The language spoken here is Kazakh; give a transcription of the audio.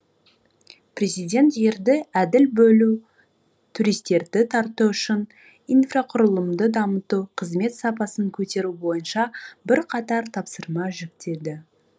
президент жерді әділ бөлу туристерді тарту үшін инфрақұрылымды дамыту қызмет сапасын көтеру бойынша бірқатар тапсырма жүктеді